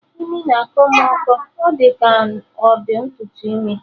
Imi na-akọ mụ ụkọ, ọ dị ka ọ ntutu imi